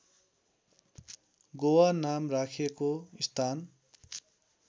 गोवा नाम राखेको स्थान